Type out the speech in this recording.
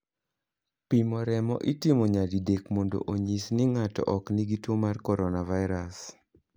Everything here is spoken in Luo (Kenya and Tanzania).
Pimo remo itimo nyadidek mondo onyis ni ng'ato ok nigi tuo mar coronavirus.